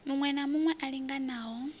muṋwe na muṋwe a linganaho